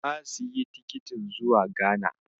Na siyi tikitin zuwa Ghana.